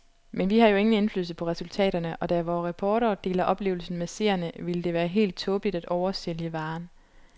Men vi har jo ingen indflydelse på resultaterne, og da vore reportere deler oplevelsen med seerne ville det være helt tåbeligt at oversælge varen.